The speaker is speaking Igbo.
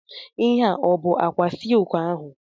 Ihe a ọ bụ ákwà silki ahụ?